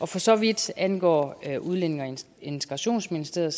for så vidt angår udlændinge og integrationsministeriet